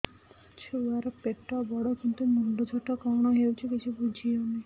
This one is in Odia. ଛୁଆର ପେଟବଡ଼ କିନ୍ତୁ ମୁଣ୍ଡ ଛୋଟ କଣ ହଉଚି କିଛି ଵୁଝିହୋଉନି